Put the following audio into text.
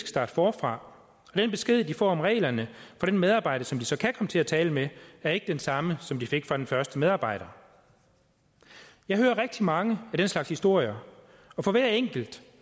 starte forfra og den besked de får om reglerne af den medarbejder som de så kan komme til at tale med er ikke den samme som de fik af den første medarbejder jeg hører rigtig mange af den slags historier og for hver enkelt